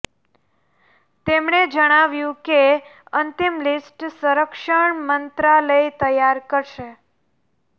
તેમણે જણાવ્યું કે અંતિમ લિસ્ટ સંરક્ષણ મંત્રાલય તૈયાર કરશે